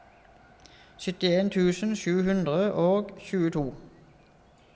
syttien tusen sju hundre og tjueto